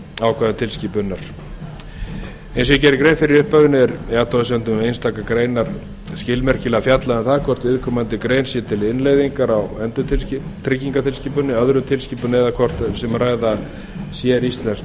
ákvæðum tilskipunarinnar eins og ég gerði grein fyrir í upphafinu er í athugasemdum um einstaka greinar skilmerkilega fjallað um það hvort viðkomandi grein sé til innleiðingar á endurtryggingatilskipuninni öðrum tilskipunum eða hvort um sé að ræða séríslensk